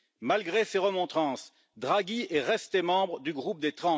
Malgré ces remontrances, Draghi est resté membre du Groupe des